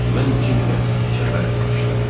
Mən Cim ilə çəpəri açdım.